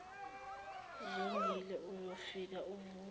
zongile uzofika uvule